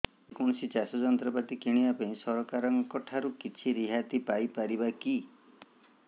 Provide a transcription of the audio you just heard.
ଯେ କୌଣସି ଚାଷ ଯନ୍ତ୍ରପାତି କିଣିବା ପାଇଁ ସରକାରଙ୍କ ଠାରୁ କିଛି ରିହାତି ପାଇ ପାରିବା କି